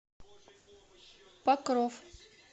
покров